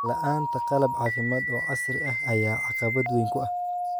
La'aanta qalab caafimaad oo casri ah ayaa caqabad weyn ku ah.